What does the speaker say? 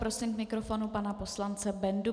Prosím k mikrofonu pana poslance Bendu.